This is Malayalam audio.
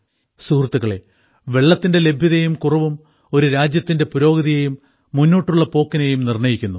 സുഹൃത്തുക്കളെ വെള്ളത്തിന്റെ ലഭ്യതയും കുറവും ഒരു രാജ്യത്തിന്റെ പുരോഗതിയെയും മുന്നോട്ടുള്ള പോക്കിനെയും നിർണ്ണയിക്കുന്നു